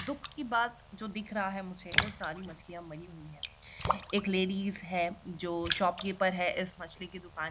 दुःख की बात जो दिख रहा है मुझे वो सारी मछलियाँ मरी हुई है। एक लेडीज है जो शॉपकीपर है। इस मछली की दुकान --